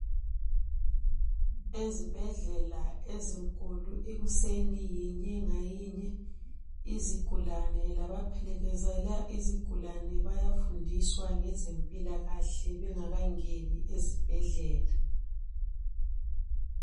Ezibhedlela ezinkulu ikuseni yinye ngayinye izigulane labaphelekezela izigulane bayafundiswa ngezempilakahle bengakangeni ezibhedlela.